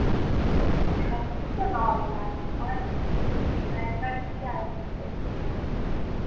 এই দিঘাপুরিতো normal আমার seriously দিঘা একবার গেছি আর আমার যেতে ভাল্লাগে না দিঘা